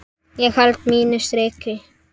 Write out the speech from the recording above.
Ég held mínu striki.